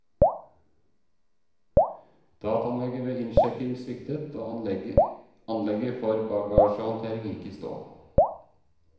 Dataanlegget ved innsjekking sviktet, og anlegget for bagasjehåndtering gikk i stå.